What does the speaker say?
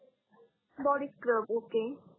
body scrub okay